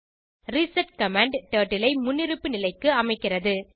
reset command turtle ஐ முன்னிருப்பு நிலைக்கு அமைக்கிறது